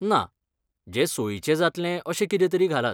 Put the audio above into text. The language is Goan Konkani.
ना, जें सोयीचें जातलें अशें कितेंतरी घालात.